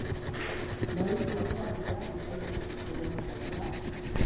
ਮੈਂ ਵੀ ਸੋਚ ਰਿਹਾ ਸੀਗਾ ਜਿਸ ਦਿਨ, ਜਦੋਂ ਓਹ ਮਰਿਆ ਹੈਗਾ।